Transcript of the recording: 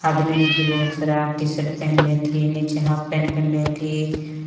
आदमिन हथि बहुत सारा टी_शर्ट पहनले हथि नीचे हाप् पैंट पहनले हथि।